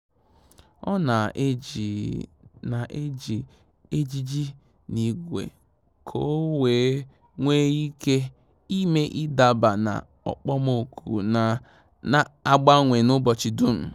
Ọ́ nà-ejì nà-ejì ejiji n’ígwé kà ọ́ wee nwee ike ị́mé ị́daba na okpomọkụ nà-ágbànwè n’ụ́bọ̀chị̀ dùm.